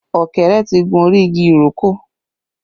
Ọ̀kẹ́rẹ́ tí gun orí igi ìrókò